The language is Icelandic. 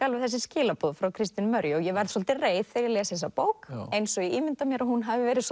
alveg þessi skilaboð frá Kristínu Marju og ég verð svolítið reið þegar ég les bókina eins og ég ímynda mér að hún hafi verið